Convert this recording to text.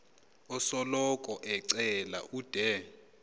osoloko ecela ude